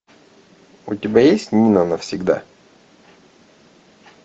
у тебя есть нина навсегда